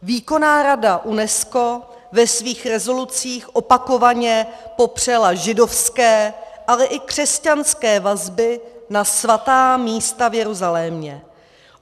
Výkonná rada UNESCO ve svých rezolucích opakovaně popřela židovské, ale i křesťanské vazby na svatá místa v Jeruzalémě.